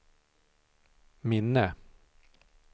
minne